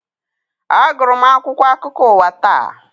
A gụrụ m akwụkwọ akụkọ ụwa taa.